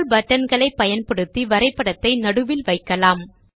scroll button களை பயன்படுத்தி வரைபடத்தை நடுவில் வைக்கலாம்